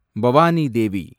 Bhavani Devi